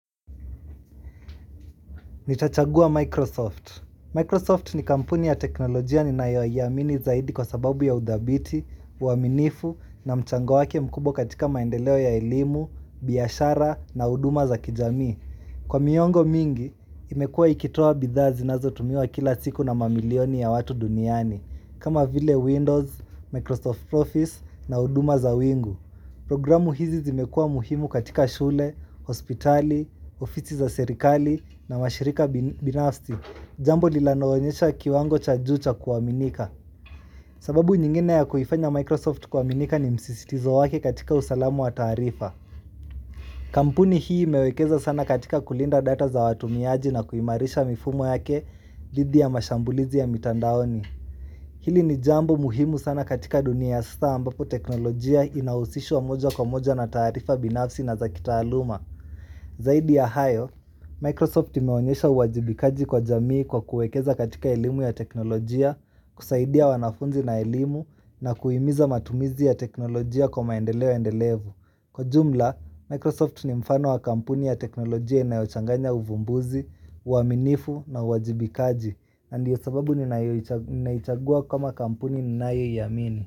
Nitachagua Microsoft. Microsoft ni kampuni ya teknolojia ninayoiamini zaidi kwa sababu ya udhabiti, uaminifu na mchango wake mkubwa katika maendeleo ya elimu, biashara na huduma za kijamii Kwa miongo mingi, imekua ikitoa bidhaa zinazo tumiwa kila siku na mamilioni ya watu duniani, kama vile Windows, Microsoft Office na huduma za wingu. Programu hizi zimekua muhimu katika shule, hospitali, ofisi za serikali na mashirika binafsi Jambo linalo onyesha kiwango cha juu cha kuaminika sababu nyingine ya kuhifanya Microsoft kuwaminika ni msistizo wake katika usalamu wa tarifa Kampuni hii mewekeza sana katika kulinda data za watumiaji na kuimarisha mifumo yake dhidi ya mashambulizi ya mitandaoni Hili ni jambo muhimu sana katika dunia sasa ambapo teknolojia inausishu wa moja kwa moja na taarifa binafsi na zakita aluma. Zaidi ya hayo, Microsoft imeonyesha uwajibikaji kwa jamii kwa kuekeza katika elimu ya teknolojia, kusaidia wanafunzi na elimu na kuimiza matumizi ya teknolojia kwa maendeleo endelevu. Kwa jumla, Microsoft ni mfano wa kampuni ya teknolojia inayochanganya uvumbuzi, uaminifu na uwajibikaji na ndiyo sababu ninaichagua kama kampuni ninayoiiamini.